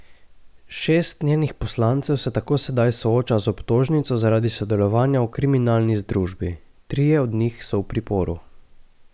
Šest njenih poslancev se tako sedaj sooča z obtožnico zaradi sodelovanja v kriminalni združbi, trije od njih so v priporu.